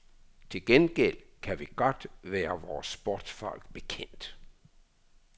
Til gengæld kan vi godt være vore sportsfolk bekendt.